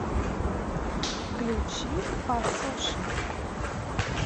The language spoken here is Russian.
включи пасоша